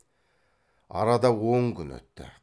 арада он күн өтті